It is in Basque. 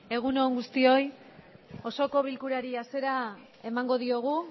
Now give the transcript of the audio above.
egun on guztioi osoko bilkurari hasiera emango diogu